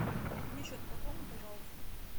мне счет пополни пожалуйста